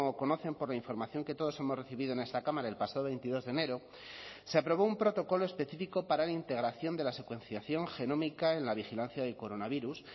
conocen por la información que todos hemos recibido en esta cámara el pasado veintidós de enero se aprobó un protocolo específico para la integración de la secuenciación genómica en la vigilancia del coronavirus